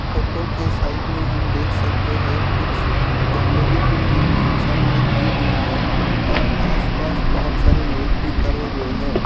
Photo के side में हम देख सकते हैकुछ गंदगी भी की इंसानो ने की हुई है और आसपास लोग भी खड़े हुए है।